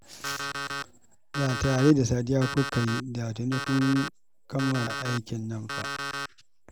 Da tare da Sadiya kuka yi, da tuni kun kammala aikin nan fa